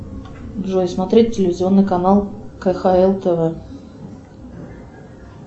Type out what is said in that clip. джой смотреть телевизионный канал кхл тв